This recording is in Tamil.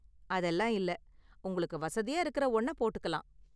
அதெல்லாம் இல்ல, உங்களுக்கு வசதியா இருக்குற ஒன்ன போட்டுக்கலாம்!